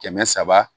Kɛmɛ saba